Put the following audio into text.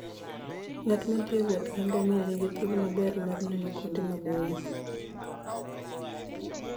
Ng'at ma thi e wuoth gi ngamia nigi thuolo maber mar neno kuonde maboyo.